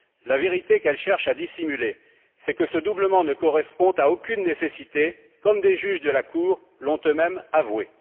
La vérité qu'elle cherche à dissimuler, c'est que ce doublement ne correspond à aucune nécessité, comme des juges de la Cour l'ont eux mêmes avoué.